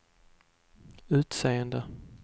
utseende